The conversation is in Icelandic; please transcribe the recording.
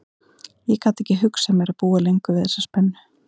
Ég gat ekki hugsað mér að búa lengur við þessa spennu.